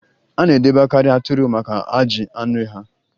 A na-edebekarị atụrụ maka ajị anụ ha